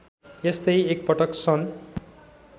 यस्तै एकपटक सन्